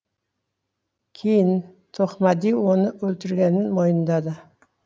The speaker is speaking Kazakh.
кейін тоқмәди оны өлтіргенін мойындады